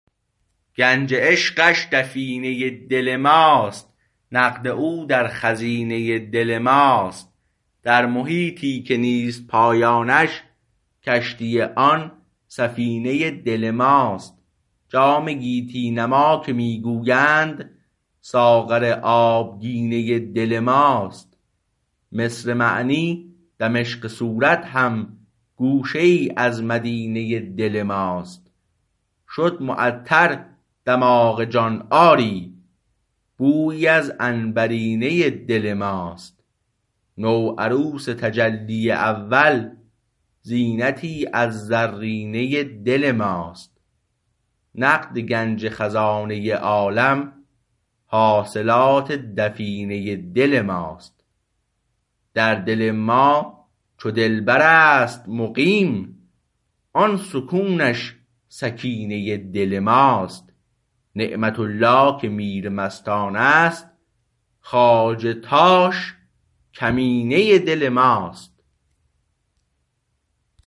گنج عشقش دفینه دل ماست نقد او در خزینه دل ماست در محیطی که نیست پایانش کشتی آن سفینه دل ماست جام گیتی نما که می گویند ساغر آبگینه دل ماست مصر معنی دمشق صورت هم گوشه ای از مدینه دل ماست شد معطر دماغ جان آری بویی از عنبرینه دل ماست نو عروس تجلی اول زینتی از زرینه دل ماست نقد گنج خزانه عالم حاصلات دفینه دل ماست در دل ما چو دلبر است مقیم آن سکونش سکینه دل ماست نعمت الله که میر مستان است خواجه تاش کمینه دل ماست